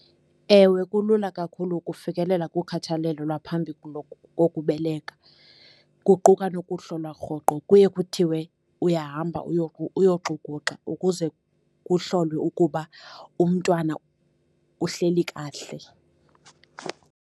Ewe kulula kakhulu ukufikelela kukhathalelo lwaphambi kokubeleka, kuquka nokuhlolwa rhoqo. Kuye kuthiwe uyahamba uyoxukuxa ukuze kuhlolwe ukuba umntwana uhleli kahle.